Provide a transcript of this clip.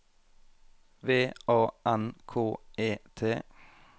V A N K E T